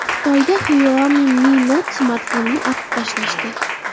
Xitoyda Xiaomi Mi Note smartfonini otib tashlashdi .